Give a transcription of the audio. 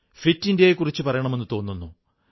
fit ഇന്ത്യയെക്കുറിച്ചു പറയണമെന്നു തോന്നുന്നു